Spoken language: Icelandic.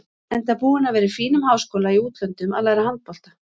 Enda búinn að vera í fínum háskóla í útlöndum að læra handbolta.